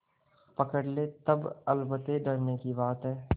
पकड़ ले तब अलबत्ते डरने की बात है